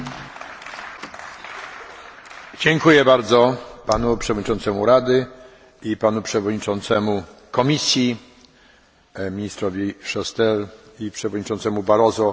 Dziękuję bardzo Panu Przewodniczącemu Rady i Panu Przewodniczącemu Komisji, ministrowi Chastelowi i Przewodniczącemu Barroso za wprowadzenie do dyskusji.